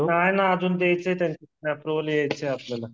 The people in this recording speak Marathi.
नाही ना आजून द्याच आहे अँप्रोवल यायचं